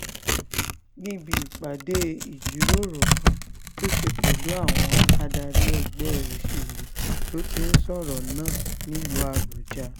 níbi ìpàdé ìjíròrò kan tó ṣe pẹ̀lú àwọn adarí ẹgbẹ́ òṣèlú ló ti sọ̀rọ̀ náà nílùú àbújá